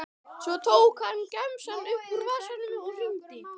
Svo tók hann gemsann upp úr vasanum og hringdi.